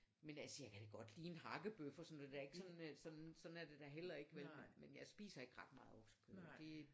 Men altså jeg kan da godt lide en hakkebøf og sådan noget sådan er det da heller ikke vel men men jeg spiser ikke ret meget oksekød det